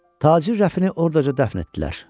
Tacir Rəfini orada dəfn etdilər.